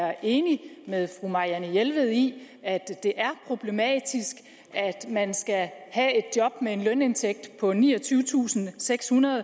er enig med fru marianne jelved i at det er problematisk at man skal have et job med en lønindtægt på niogtyvetusinde og sekshundrede